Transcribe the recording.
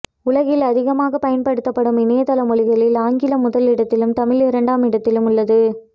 உலகில் அதிகமாக பயன்படுத்தப்படும் இணையதள மொழிகளில் ஆங்கிலம் முதலிடத்திலும் தமிழ் இரண்டாம் இடத்திலும் உள்ளது